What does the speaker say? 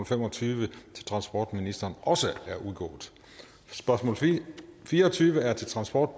fem og tyve til transportministeren også er udgået spørgsmål fire og tyve er til transport